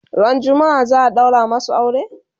Ran jumma'a za'a ɗaura masu aure?